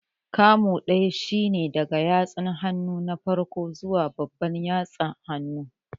Kamu ɗaya shine daga yatsan hannu na farko zuwa babban yatsa hannun